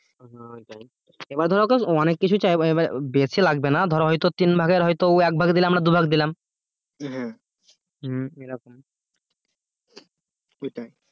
এবার ধর ওকে অনেক কিছু চাইবো বেছে লাগবে না ধর হয়তো তিনভাগের হয়তো একভাগ দিলে আমরা দুভাগ দিলাম এরকম এটাই